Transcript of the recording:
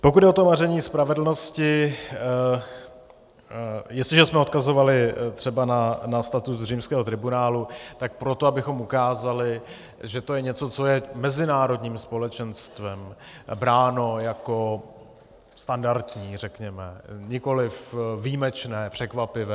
Pokud jde o to maření spravedlnosti, jestliže jsme odkazovali třeba na status římského tribunálu, tak proto, abychom ukázali, že to je něco, co je mezinárodním společenstvem bráno jako standardní, řekněme, nikoli výjimečné, překvapivé.